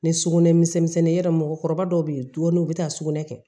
Ni sugunɛ misɛn ya mɔgɔkɔrɔba dɔw be yen dumuni u be taa sugunɛ kɛ